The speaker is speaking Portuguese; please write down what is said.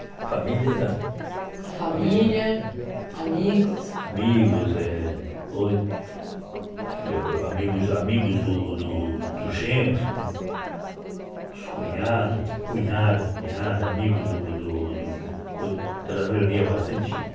A família era... A família, amigos... Amigos, eh amigos do do dos genros, os cunhados, cunhada, cunhada, amigos do do do co... Ela reunia bastante gente.